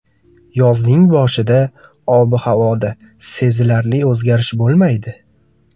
Yozning boshida ob-havoda sezilarli o‘zgarish bo‘lmaydi.